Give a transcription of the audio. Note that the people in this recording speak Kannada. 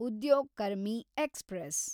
ಉದ್ಯೋಗ್ ಕರ್ಮಿ ಎಕ್ಸ್‌ಪ್ರೆಸ್